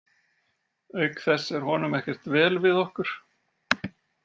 Auk þess er honum ekkert vel við okkur.